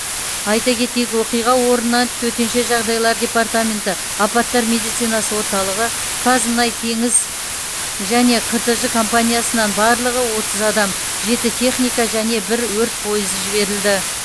айта кетейік оқиға орнына төтенше жағдайлар департаменті апаттар медицинасы орталығы қазмұнайтеңіз және қтж компаниясынан барлығы отыз адам жеті техника және бір өрт пойызы жіберілді